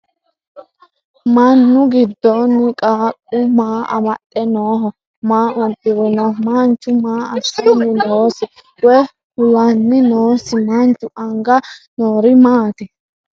Mannu gidoonni qaaqu maa amaxxe nooho ? Maa udirinno? Manchu maa assanni noosi? Woy kulanni noosi? Manchu anga noori maatti?